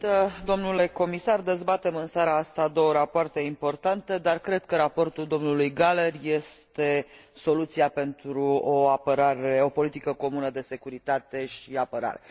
Doamnă președintă, domnule Comisar, dezbatem în seara asta două rapoarte importante, dar cred că raportul domnului Gahler este soluția pentru o politică comună de securitate și apărare.